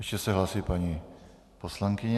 Ještě se hlásí paní poslankyně.